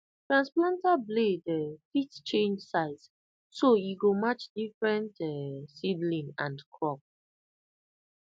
transplanter blade um fit change size so e go match different um seedling and crop